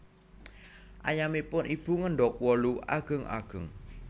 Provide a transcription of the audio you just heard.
Ayamipun Ibu ngendog wolu ageng ageng